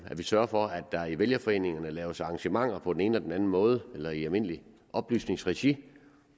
sørge for at der i vælgerforeningerne laves arrangementer på den ene og den anden måde eller i almindeligt oplysningsregi